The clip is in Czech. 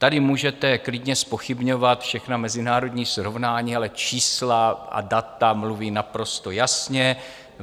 Tady můžete klidně zpochybňovat všechna mezinárodní srovnání, ale čísla a data mluví naprosto jasně.